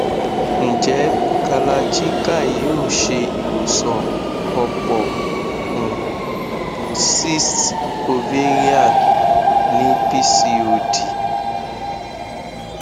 nje kalarchikai yoo ṣe iwosan ọpọ um cysts ovarian ni pcod